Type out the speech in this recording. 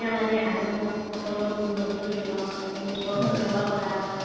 মানে আলহী সকলক নিমন্ত্ৰণ জনোৱা হয় তেওঁলোকক সেৱা কৰা হয়